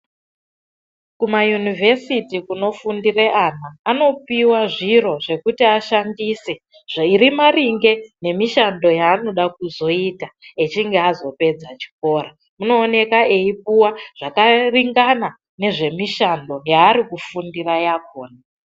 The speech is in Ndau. Kuma yunivhesiti kuno fundire ana, anopiwa zviro zvekuti ashandise zviri maringe nemishando yaanoda kuzoita echinge azo pedza chikora. Uno oneka eipuwa zvaka ringana nezve mishando yaari kufundira yakhona.